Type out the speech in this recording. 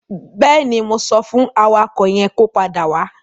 Bẹ́ẹ̀ni, mo sọ fún awakọ̀ yẹn kó padà wá.